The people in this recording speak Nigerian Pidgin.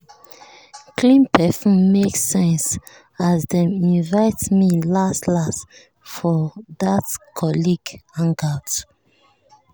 clean perfume make sense as dem invite me last-last for that colleague hangout.